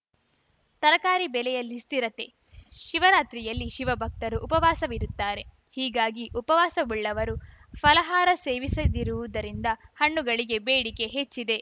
ತರಕಾರಿ ಬೆಲೆಯಲ್ಲಿ ಸ್ಥಿರತೆ ಶಿವರಾತ್ರಿಯಲ್ಲಿ ಶಿವಭಕ್ತರು ಉಪವಾಸವಿರುತ್ತಾರೆ ಹೀಗಾಗಿ ಉಪವಾಸವುಳ್ಳವರು ಫಲಹಾರ ಸೇವಿಸದಿರುವುದರಿಂದ ಹಣ್ಣುಗಳಿಗೆ ಬೇಡಿಕೆ ಹೆಚ್ಚಿದೆ